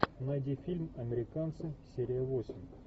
найди фильм американцы серия восемь